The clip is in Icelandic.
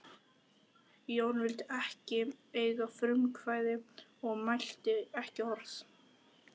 Jón vildi ekki eiga frumkvæði og mælti ekki orð.